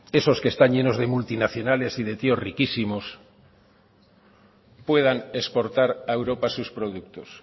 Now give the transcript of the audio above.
esos que están llenos de multinacionales y de tíos riquísimos puedan exportar a europa sus productos